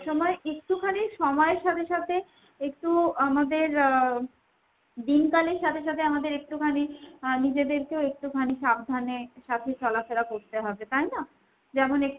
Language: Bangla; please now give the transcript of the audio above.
সবসময় একটুখানি সময়ের সাথে সাথে একটু আমাদের আহ দিনকালের সাথে সাথে আমাদের একটুখানি আহ নিজেদেরকেও একটুখানি সাবধান এর সাথে চলা ফেরা করতে হবে তাই না ? যেমন